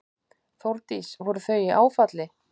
Þórdís: Voru þau í áfalli?